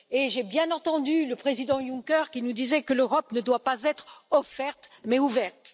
Et j'ai bien entendu le président Juncker qui nous disait que l'Europe ne doit pas être offerte mais ouverte.